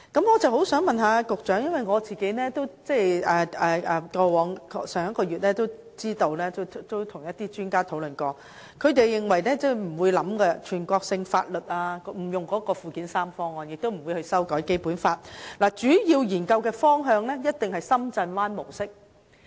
我想問局長的是，我上月曾與一些專家進行討論，他們認為透過附件三實施全國性法律的做法不會予以考慮，亦不會修改《基本法》，他們指出，主要的研究方向一定是深圳灣模式。